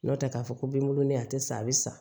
N'o tɛ k'a fɔ ko binkolon de tɛ sa a bɛ sa